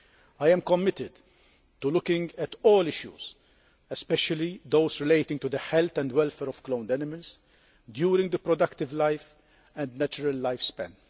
I am committed to looking at all issues, especially those relating to the health and welfare of cloned animals during their productive life and natural lifespan.